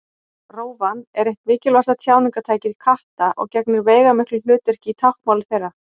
Rófan er eitt mikilvægasta tjáningartæki katta og gegnir veigamiklu hlutverki í táknmáli þeirra.